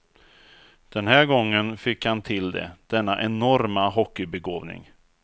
Den här gången fick han till det, denna enorma hockeybegåvning.